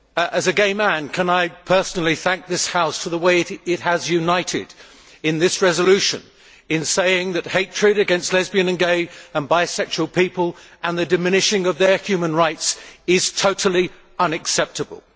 As a gay man, can I personally thank this House for the way it has united in this resolution in saying that hatred against lesbian, gay and bisexual people, and the diminishing of their human rights, is totally unacceptable.